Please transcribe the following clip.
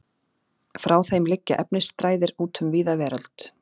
Frá þeim liggja efnisþræðir út um víða veröld.